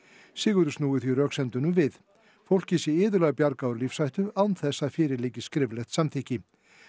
Sigurður snúi því röksemdum við fólki sé iðulega bjargað úr lífshættu án þess að fyrir liggi skriflegt samþykkti